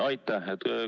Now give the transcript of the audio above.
Aitäh!